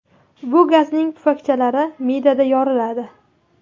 Bu gazning pufakchalari me’dada yoriladi.